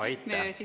Aitäh!